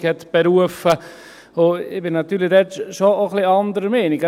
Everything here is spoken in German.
Ich bin natürlich da schon auch ein wenig anderer Meinung.